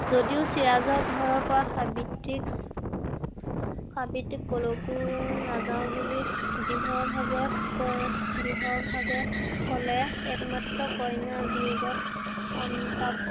যদিও চিৰাজৰ ঘৰৰ পৰা সাৱিত্ৰীক সাৱিত্ৰীক কলৈকো নাযাও বুলি দৃহ বাবে দৃহ বাবে ক'লে একমাত্ৰ কন্যাৰ বিয়োগত অনুতাপ